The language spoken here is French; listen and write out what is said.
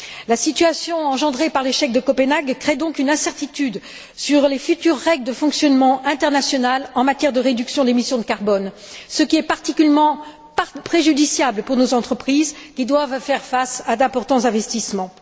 La situation engendrée par l'échec de Copenhague crée donc une incertitude quant aux futures règles de fonctionnement internationales en matière de réduction des émissions de carbone, ce qui est particulièrement préjudiciable pour nos entreprises qui doivent faire face à d'importants investissements.